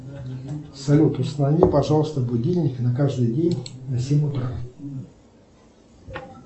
салют установи пожалуйста будильник на каждый день на семь утра